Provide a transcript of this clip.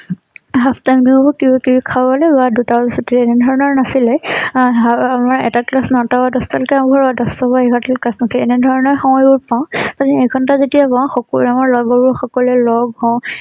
halftime দিব বা কিবা কিবি খাবলৈ বা দুটা বজাত চুটি দিয়ে এনে ধৰণৰ নাছিল । এঅএটা class তাৰ পৰা দহটা লৈকে কাম কৰিব আৰু দহটা পৰা এঘাৰটা লৈ এনে ধৰণৰ সময়বোৰ পাও আৰু এঘণ্টা যেতিয়া পাও লগ সকলোৱে লগ হওঁ।